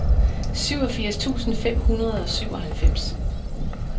syvogfirs tusind fem hundrede og syvoghalvfems